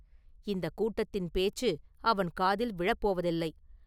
இந்தக் கூட்டத்தின் பேச்சு அவன் காதில் விழப் போவதில்லை.